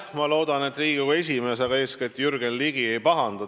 Ma loodan, et Riigikogu esimees, aga eeskätt Jürgen Ligi ei pahanda.